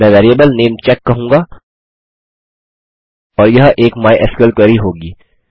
मैं variable name check कहूँगा और यह एक माइस्क्ल क्वेरी होगी